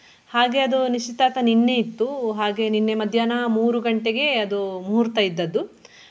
ಹಾಗೆ ಅದು ನಿಶ್ಚಿತಾರ್ಥ ನಿನ್ನೆ ಇತ್ತು ಹಾಗೆ ನಿನ್ನೆ ಮಧ್ಯಾನ ಮೂರು ಗಂಟೆಗೆ ಅದು ಮುಹೂರ್ತ ಇದ್ದದ್ದು.